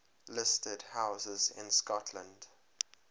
listed houses in scotland